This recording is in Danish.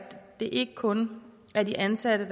det ikke kun er de ansatte